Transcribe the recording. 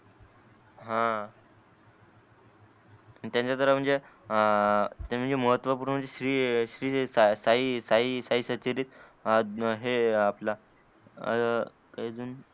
हा त्यांच जरा म्हणजे अं त्यांच महत्व पूर्ण श्री श्री साई साई साई सचलीत हे आपल आह अजून